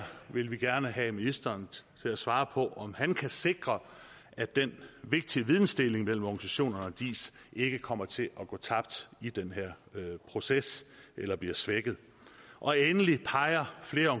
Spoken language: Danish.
vil vi gerne have ministeren til at svare på om han kan sikre at den vigtige vidensdeling mellem organisationerne og diis ikke kommer til at gå tabt i den her proces eller bliver svækket endelig peger flere